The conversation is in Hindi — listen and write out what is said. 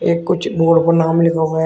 ये कुछ बोर्ड पर नाम लिखा हुआ--